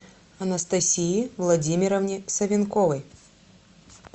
анастасии владимировне савенковой